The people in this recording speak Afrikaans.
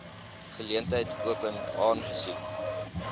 geleentheid open aangesien